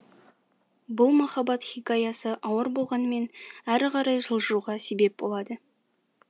бұл махаббат хикаясы ауыр болғанымен әрі қарай жылжуға себеп болады